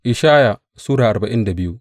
Ishaya Sura arba'in da biyu